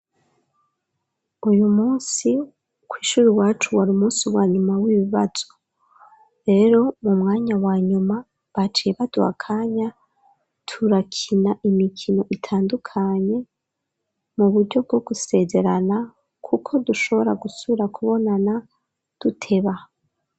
uyu munsi ku ishuri iwacu wari umunsi wa nyuma w'ibibazo, rero mu mwanya wa nyuma baciye baduha akanya turakina imikino itandukanye mu buryo bwo gusezerana kuko dushobora gusubira kubonana duteba.